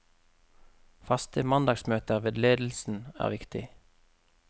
Faste mandagsmøter med ledelsen er viktig.